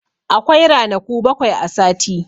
Akwai ranaku bakwai a sati.